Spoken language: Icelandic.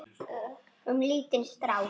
Um lítinn strák.